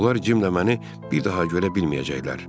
Onlar Cimlə məni bir daha görə bilməyəcəklər.